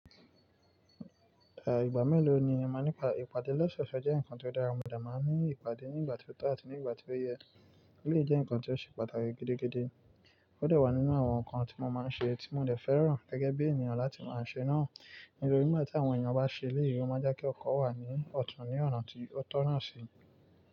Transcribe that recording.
À ìgbà mélòó ni ẹ máa ń ní ìpàdé? Ìpàdé lọ́sọ̀ọ̀sẹ̀ jẹ́ ǹkan tó dára, mo de máa ń ní ìpàdé ní ìgbà tí ó tọ́ àti ní ìgbà tí ó yẹ. Eleyi je ǹkan tí ó ṣe pàtàkì gidigidi, ó de wà nínú àwọn ǹkan tí mo máa ń ṣe tí mo dẹ̀ fẹ́ràn gẹ́gẹ́ bí èniyan láti máa ṣe náà. Nítorí nigbati àwọn èèyàn bá ṣe eleyi o máa n jẹ́ kí ọkọ̀ wà ní ọ̀tún ní ọ̀nà tí ó tọ́ náà sí.